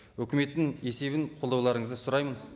өкіметтің есебін қолдауларыңызды сұраймын